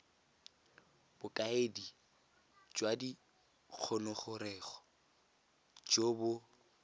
bokaedi jwa dingongorego jo bo